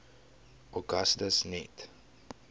augustus net